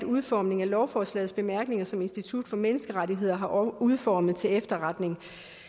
udformning af lovforslagets bemærkninger som institut for menneskerettigheder har udformet til efterretning